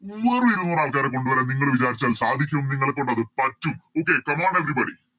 വെറും ഇരുനൂറാൾക്കാരെ കൊണ്ടു വരാൻ നിങ്ങള് വിചാരിച്ചാൽ സാധിക്കും നിങ്ങളെക്കൊണ്ടത് പറ്റും Okay come on everybody